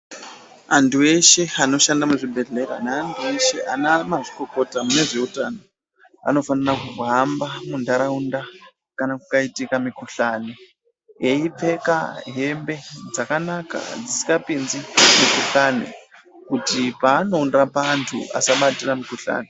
Antu eshe anoshanda muzvibhedhlera neantu eshe anamazvikokota mune zveutano anofanira kuhamba munharaunda kana kukaitika mikhuhlani eipfeka hembe dzakanaka dzisingapinzi mikhuhlani kuti paanondorapa antu asiabatsira mikhuhlani.